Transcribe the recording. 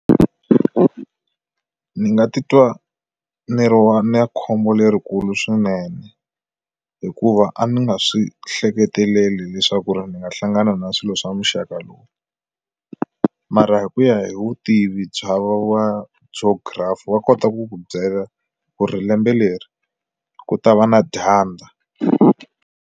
Ni nga titwa ni ri wa na khombo lerikulu swinene hikuva a ni nga swi hleketeleli leswaku ri ni nga hlangana na swilo swa muxaka lowu mara hi ku ya hi vutivi bya va wa byo geography va kota ku ku byela ku ri lembe leri ku ta va na dyandza.